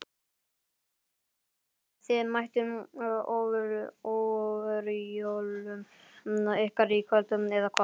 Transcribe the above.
Guðmundur Steinarsson Þið mættuð ofjörlum ykkar í kvöld eða hvað?